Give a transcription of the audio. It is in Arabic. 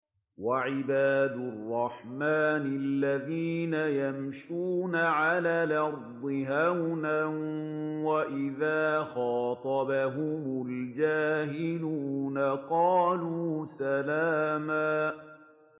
وَعِبَادُ الرَّحْمَٰنِ الَّذِينَ يَمْشُونَ عَلَى الْأَرْضِ هَوْنًا وَإِذَا خَاطَبَهُمُ الْجَاهِلُونَ قَالُوا سَلَامًا